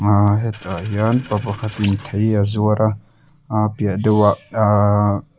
ahhh hetah hian pa pakhat in thei a zuar a a piah deuh ah ahhh--